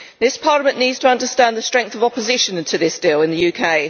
This Parliament needs to understand the strength of opposition to this deal in the UK.